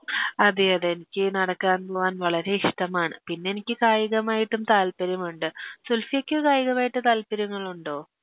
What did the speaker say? അതെയതെ എനിക്ക് നടക്കാൻ പോവാൻ വളരെ ഇഷ്ട്ടമാണ് പിന്നെനിക്ക് കായികമായിട്ടും താൽപ്പര്യമുണ്ട് സുൽഫിയക്ക് കായികമായിട്ട് താൽപ്പര്യങ്ങളുണ്ടോ